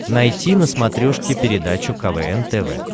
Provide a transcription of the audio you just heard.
найти на смотрешке передачу квн тв